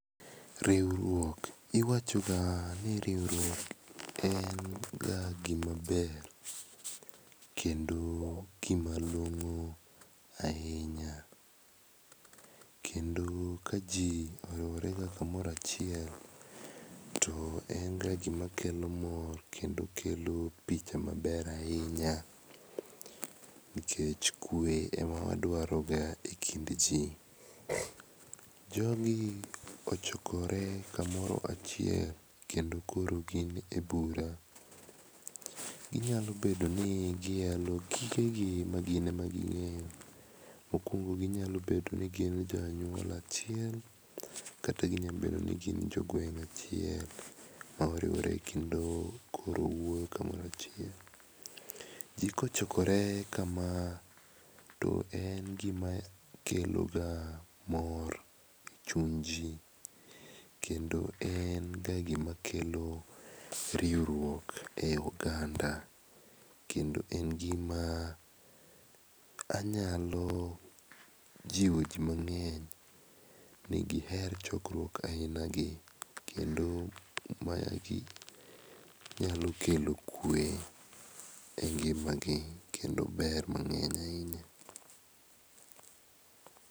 Riuruok, iwachoga ni riuruok en ga gima ber kendo gima long'o ainya, kendo ka jii oriworega kamoro achiel to en ga gima kelo mor kendo kelo picha maber ainya nikech kue ema waduaroga e kind jii. Jogi ochokore kamoro achiel kendo koro gin e bura. Ginyalobedoni giyalo gigegi ma gine maging'eyo. Mokuongo ginyalobedo ni gin jo anyuola achiel kata ginyabedo ni gin jogueng' achiel maoriwore kendo koro wuoyo kamoro achiel. Jii kochokore kamaa to en gima keloga mor e chuny jii kendo en ga gima kelo riuruok e oganda kendo en gima anyalo jiwo jii mang'eny ni giher chokruok ainagi to kendo magi nyalo kelo kue e ngimagi kendo ber mang'eny ainya.